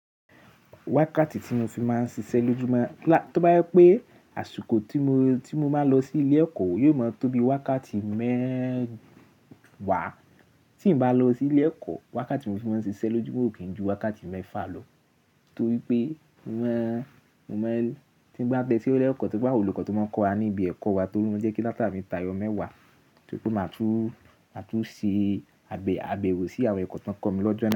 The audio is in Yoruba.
Wákàtí tí mo fi máa ń ṣiṣẹ́ lójúmọ́, tó bá yẹ pé àsìkò tí mo máa lọ sí ilé ẹ̀kọ́ yóò máa tóbi wákàtí mẹ́wàá, tí n bá lọ sí ilé ẹ̀kọ́, wákàtí mo fi máa ń ṣiṣẹ́ lójúmọ́ ò kí ń ju wákàtí mẹ́fà lọ. Nítorí pé tí ń bá gbe ó lẹ́kọ̀ọ́ tó bá wù olùkọ́ tó máa ń kọ́ wa níbi ẹ̀kọ́ wa torí wọ́n jẹ́ kí láti bá mi ta ayọ̀ mẹ́wàá, tó máa tún ṣe àbẹ̀wò sí àwọn ẹ̀kọ́ tó ń kọ̀ mí lọ́jọ́ naa.